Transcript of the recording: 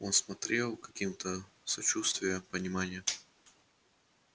он смотрел каким-то сочувствия понимания